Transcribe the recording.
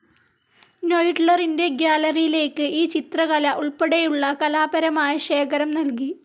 നൊയിഡ്ലറിന്റെ ഗ്യാലറിയിലേക്ക് ഈ ചിത്രകല ഉൾപ്പെടെയുള്ള കലാപരമായ ശേഖരം നൽകി.